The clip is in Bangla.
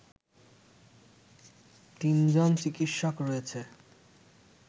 তিনজন চিকিৎসক রয়েছে